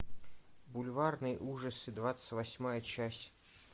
бульварные ужасы двадцать восьмая часть